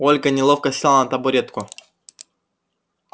ольга неловко села на табуретку